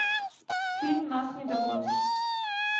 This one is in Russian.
фильм нас не догонишь